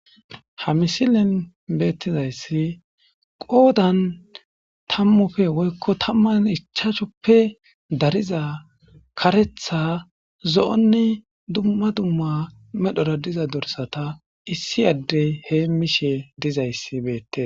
ha misilen beettizayssi qoodan tammufe woykko tamman ichaachoppe dariza karetha zo7onni dumma dumma medhora diza dorsata issi adde heemmishe dizayssi beette